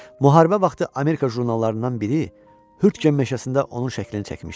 Müharibə vaxtı Amerika jurnallarından biri Hürtgen meşəsində onun şəklini çəkmişdi.